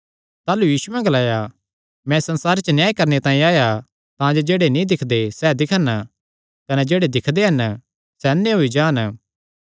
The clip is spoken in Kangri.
ताह़लू यीशुयैं ग्लाया मैं इस संसारे च न्याय करणे तांई आया तांजे जेह्ड़े नीं दिक्खदे सैह़ दिक्खन कने जेह्ड़े दिक्खदे हन सैह़ अन्ने होई जान